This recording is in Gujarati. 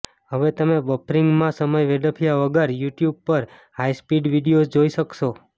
હવે તમે બફરીંગ મા સમય વેડફ્યા વગર યુટ્યૂબ પર હાઈ સ્પીડ વિડિઓઝ જોઈ શકશો